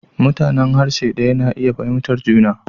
Mutanen harshe ɗaya na iya fahimtar juna.